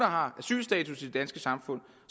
har asylstatus i det danske samfund